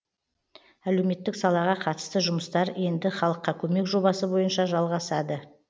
әлеуметтік салаға қатысты жұмыстар енді халыққа көмек жобасы бойынша жалағасады